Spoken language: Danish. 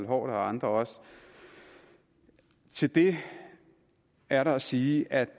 og andre til det er der at sige at